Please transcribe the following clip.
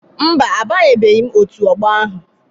Mba, abanyebeghị m Òtù Ọgbọ ahụ